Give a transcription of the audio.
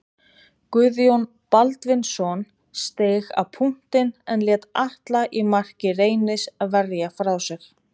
Guðjón Baldvinsson steig á punktinn en lét Atla í marki Reynis verja frá sér.